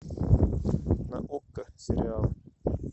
на окко сериал